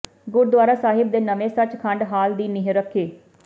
ਗੁਰਦੁਆਰਾ ਸਾਹਿਬ ਦੇ ਨਵੇਂ ਸੱਚਖੰਡ ਹਾਲ ਦੀ ਨੀਂਹ ਰੱਖੀ